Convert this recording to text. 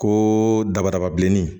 Ko dabadaba bilenni